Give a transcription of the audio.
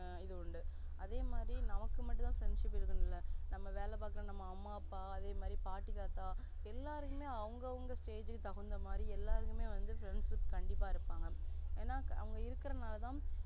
ஆஹ் இது உண்டுஅதே மாதிரி நமக்கு மட்டுமதா friendship இருக்கனும்ல நாம வேல பாக்குற அம்மா அப்பா அதே மாதிரி பாட்டி தாத்தா எல்லாருக்குமே அவங்க அவங்க stage க்கு தகுந்த மாறி எல்லாறுக்குமே வந்து friendship கண்டிப்பா இருப்பாங்க ஏன்னா அவங்க இருக்கற நாளதா